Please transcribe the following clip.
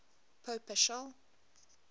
pope paschal